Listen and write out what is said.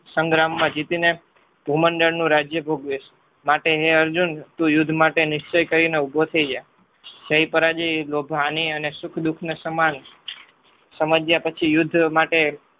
સંગ્રામમાં જીતીને ભૂમંડળનું રાજ્ય ભોગવીશ માટે હે અર્જુન તું યુદ્ધ માટે નિશ્ચય કરીને ઉભો થઈ જા. જય પરાજય લોભ ની અને સુખ દુઃખ સમાન સમજ્યા પછી યુદ્ધ માટે